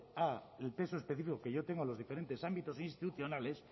al peso específico que yo tengo en los diferentes ámbitos institucionales